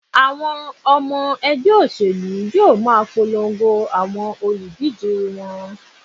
Àwọn ọmọ ẹgbẹ́ òṣèlú yóò ma polongo àwọn olùdíje wọn.